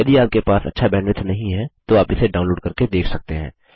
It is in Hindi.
यदि आपके पास अच्छा बैंडविड्थ नहीं है तो आप इसे डाउनलोड करके देख सकते हैं